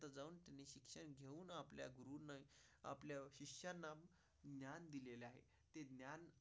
शरणम.